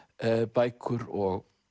bækur og